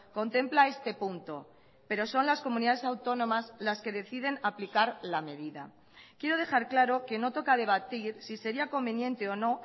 contempla este punto pero son las comunidades autónomas las que deciden aplicar la medida quiero dejar claro que no toca debatir si sería conveniente o no